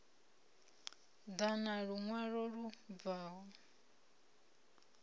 ḓa na luṅwalo lu bvaho